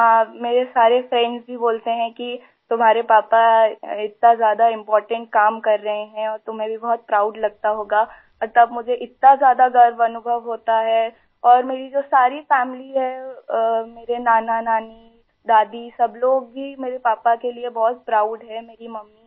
جی ہاں ، میرے تمام دوست بھی کہتے ہیں کہ تمہارے پاپا اتنا زیادہ اہم کام کر رہے ہیں اور تمہیں بھی بہت فخر ہوتا ہوگا اور تب مجھے اتنا زیادہ فخر محسوس ہوتاہے اور میری جو ساری فیملی ہے ، میرے نانا نانی ، دادی ، سب لوگ ہی میرے پاپا کے لئے بہت فخر محسوس کرتے ہیں